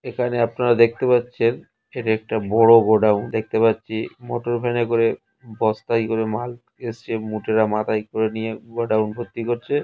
এখানে আপনারা দেখতে পাচ্ছেন এটা একটা বড় গোডাউন । দেখতে পাচ্ছি মোটর ভ্যানে করে বস্তাই করে মাল এসছে মুটেরা মাথায় করে নিয়ে গোডাউন ভর্তি করছে।